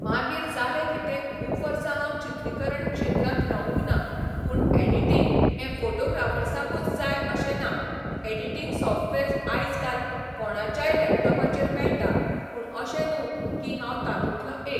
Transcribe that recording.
मागीर जालें कितें खूब वर्सा हांव चित्रिकरण क्षेत्रांत रावूंक ना पूण एडिटींग हे फॉटोग्राफर्साकूंच जाय अशें ना एडिटींग सॉफ्टवॅर्स आयज काल कोणाच्याय लॅपटोपार मेळटा पूण अशें न्हू की हांव तातुंतलो एक